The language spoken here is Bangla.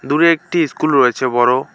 দূরে একটি ইস্কুল রয়েছে বড়।